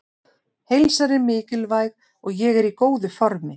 Heilsan er mikilvæg og ég er í góðu formi.